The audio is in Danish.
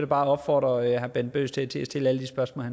bare opfordre herre bent bøgsted til at stille alle de spørgsmål